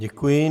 Děkuji.